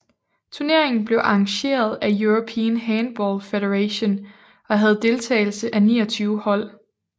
Turneringen blev arrangeret af European Handball Federation og havde deltagelse af 29 hold